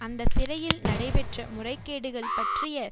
அந்த சிறையில் நடைபெற்ற முறைகேடுகள் பற்றிய